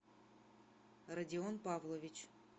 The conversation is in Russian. радион павлович